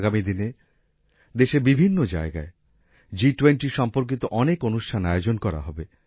আগামী দিনে দেশের বিভিন্ন জায়গায় G20 সম্পর্কিত অনেক অনুষ্ঠান আয়োজন করা হবে